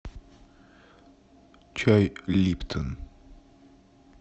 чай липтон